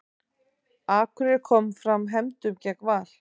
Akureyri kom fram hefndum gegn Val